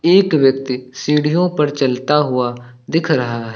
एक व्यक्ति सीढ़ियों पर चलता हुआ दिख रहा है।